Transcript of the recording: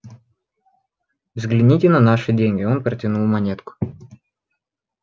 взгляните на наши деньги он протянул монетку